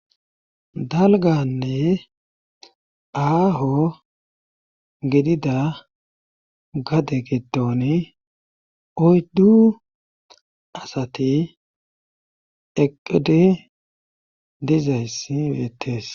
Dalganne aaho gidida gade gidon oyddu asati eqede dizayssi beettees.